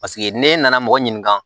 Paseke n'e nana mɔgɔ ɲininka